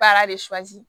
Baara de